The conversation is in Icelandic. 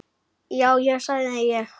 Já, já, sagði ég.